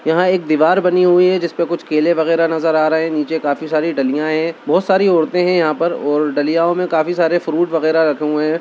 यहाँ एक दीवार बनी हुई है जिस पे कुछ केले वगैरा नज़र आ रहे हैं नीचे काफी सारी डलिया हैं बहोत सारी औरते हैं यहाँ पर और डलियाओं में काफी सारे फ्रूट वगैरा रखे हुए हैं।